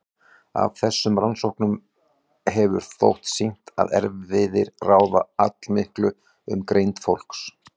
Af þessum rannsóknum hefur þótt sýnt að erfðir ráða allmiklu um greind fólks.